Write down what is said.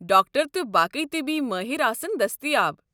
Doctor تہٕ باقٕے طبی مٲہِر آسَن دٔستِیاب۔